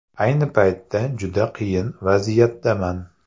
Ayni paytda juda qiyin vaziyatdaman.